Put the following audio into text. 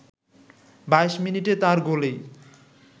২২ মিনিটে তার গোলেই